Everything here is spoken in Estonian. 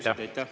Aitäh!